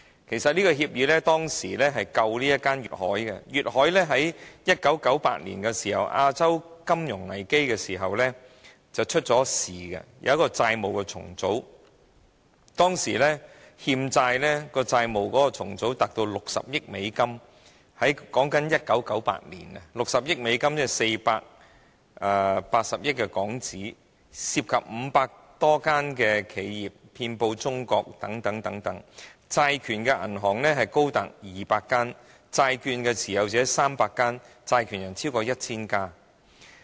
其實這協議拯救了當時的粵海，粵海在1998年亞洲金融危機時曾"出事"，需要債務重組，當時債務重組的欠債達60億美元，當年是1998年 ，60 億美元即480億港元，涉及500多間企業，遍布中國等地，債權銀行多達200間，債券的持有者有300間，債權人超過 1,000 間。